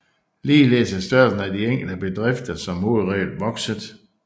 Ligeledes er størrelsen af de enkelte bedrifter som hovedregel vokset